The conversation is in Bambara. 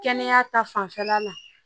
Kɛnɛya ta fanfɛla la